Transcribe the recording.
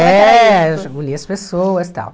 É, unia as pessoas e tal.